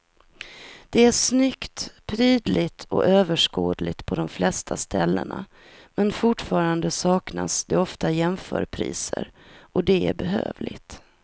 Det är snyggt, prydligt och överskådligt på de flesta ställena men fortfarande saknas det ofta jämförpriser och det är bedrövligt.